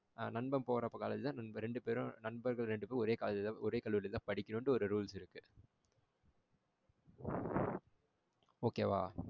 நண்பன் போற college தா ரெண்டு பேரும் நண்பர்கள் ரெண்டு பேரும் ஒரே college தான் ஒரே கல்லூரி தான் படிக்கணும்ட்டு ஒரு rules இருக்கு. Okay வா?